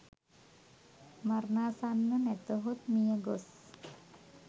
මරණාසන්න, නැතහොත් මියගොස්